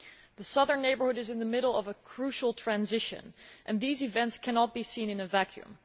The Southern Neighbourhood is in the middle of a crucial transition and these events cannot be seen in a vacuum.